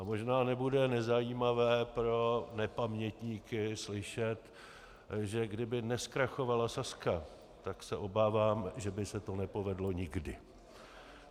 A možná nebude nezajímavé pro nepamětníky slyšet, že kdyby nezkrachovala Sazka, tak se obávám, že by se to nepovedlo nikdy.